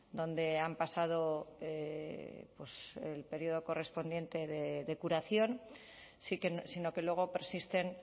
donde han pasado el periodo correspondiente de curación sino que luego persisten